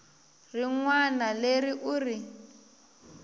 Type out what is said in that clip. rin wana leri u ri